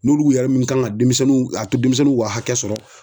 N'olu yɛrɛ minnu kan ŋa demisɛnninw a to demisɛnninw ka hakɛ sɔrɔ